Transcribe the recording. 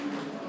Düzəltdik.